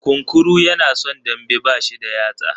Kunkuru yana son dambe, bashi da yatsa.